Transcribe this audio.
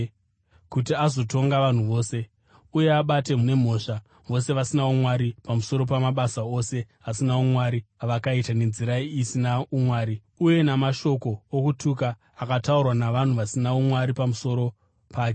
kuti azotonga vanhu vose, uye abate nemhosva vose vasina umwari pamusoro pamabasa ose asina umwari avakaita nenzira isina umwari, uye namashoko okutuka akataurwa navanhu vasina umwari pamusoro pake.”